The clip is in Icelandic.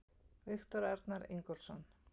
Viktor Arnar Ingólfsson